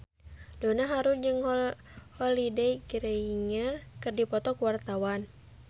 Donna Harun jeung Holliday Grainger keur dipoto ku wartawan